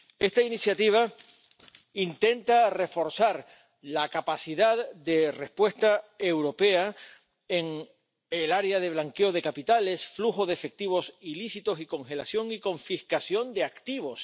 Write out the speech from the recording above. Esta iniciativa intenta reforzar la capacidad de respuesta europea en el área del blanqueo de capitales, flujo de efectivos ilícitos y congelación y confiscación de activos.